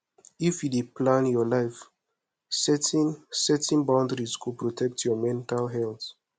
if you dey plan your life setting setting boundaries go protect your mental health